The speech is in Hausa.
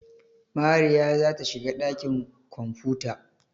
Mariya za ta shiga ɗakin kwamfuta.